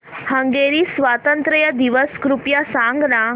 Hungary स्वातंत्र्य दिवस कृपया सांग ना